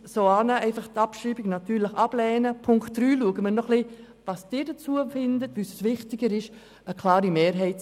Es ist mir wichtig zu sagen, dass eine klare Tendenz besteht.